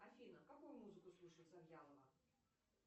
афина какую музыку слушает завьялова